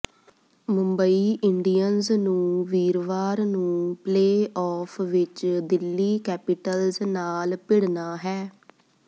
Mumbai Indians ਨੂੰ ਵੀਰਵਾਰ ਨੂੰ ਪਲੇਅ ਆਫ ਵਿਚ ਦਿੱਲੀ ਕੈਪੀਟਲਸ ਨਾਲ ਭਿੜਨਾ ਹੈ